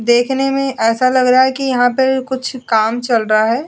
ऐसा लग रहा है कि यहां पे कुछ काम चल रहा है।